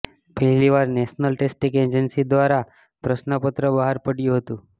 પહેલીવાર national testing agency દ્વારા પ્રશ્નપત્ર બહાર પડાયું હતું